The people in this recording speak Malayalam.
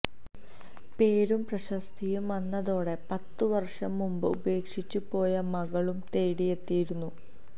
പേരും പ്രശസ്തിയും വന്നതോടെ പത്ത് വര്ഷം മുന്പ് ഉപേക്ഷിച്ചു പോയ മകളും തേടിയെത്തിയിരുന്നു